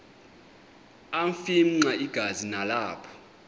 afimxa igazi nalapho